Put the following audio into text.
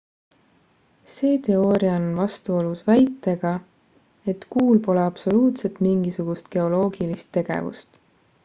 see teooria on vastuolus väitega et kuul pole absoluutselt mingisugust geoloogilist tegevust